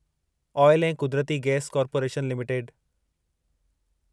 आयल ऐं कुदरती gas corporation limited